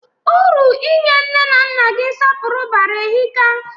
Uru inye nne na nna gị nsọpụrụ bara ehika.